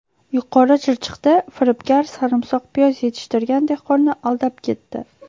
Yuqori Chirchiqda firibgar sarimsoq piyoz yetishtirgan dehqonni aldab ketdi.